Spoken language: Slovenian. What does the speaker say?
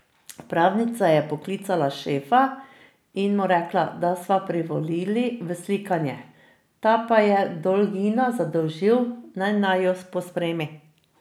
Pravnica je poklicala Šefa in mu rekla, da sva privolila v slikanje, ta pa je Dolgina zadolžil, naj naju pospremi.